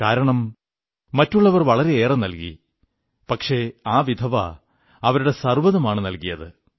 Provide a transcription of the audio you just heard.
കാരണം മറ്റുള്ളവർ വളരെയേറെ നല്കി പക്ഷേ ആ വിധവ അവരുടെ സർവ്വതുമാണു നല്കിയത്